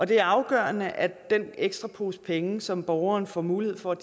det er afgørende at den ekstra pose penge som borgeren får mulighed for at